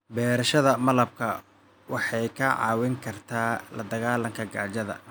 Beerashada malabka waxay kaa caawin kartaa la dagaalanka gaajada.